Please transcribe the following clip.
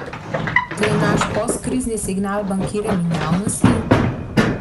To je naš postkrizni signal bankirjem in javnosti?